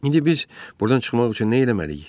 İndi biz burdan çıxmaq üçün nə eləməliyik?